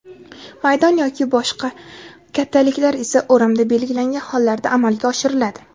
maydon yoki boshqa kattaliklar esa o‘ramda belgilangan hollarda amalga oshiriladi.